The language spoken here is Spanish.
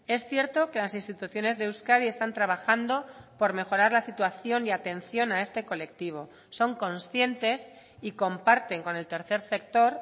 es cierto que las instituciones de euskadi están trabajando por mejorar la situación y atención a este colectivo son conscientes y comparten con el tercer sector